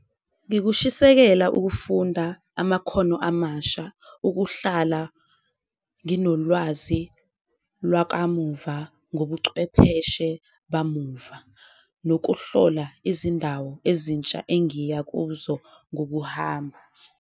Ngikushisekela ukufunda amakhono amasha ukuhlala nginolwazi lwakamuva ngobucwepheshe bamuva, nokuhlola izindawo ezintsha engiyakuzo ngokuhamba.